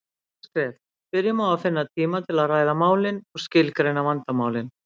Fyrsta skref: Byrjum á að finna tíma til að ræða málin og skilgreina vandamálin.